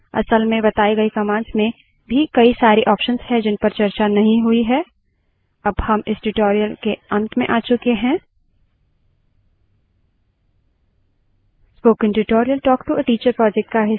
यहाँ कई अन्य commands हैं जिनपर हम चर्चा कर सकते हैं लेकिन फिलहाल यहीं तक सीमित रखते हैं असल में बताए गए commands में भी कई सारे options हैं जिनपर चर्चा नहीं हुई है